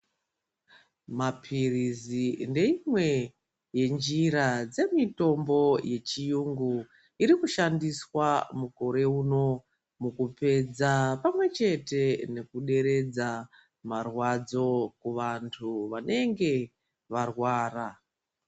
Maphirizi ndeimwe yenjira yemitombo yechiyungu iri kushandiswa mukore uno mukupedza pamwechete nekuderedza marwadzo kuvantu vanenge varwara.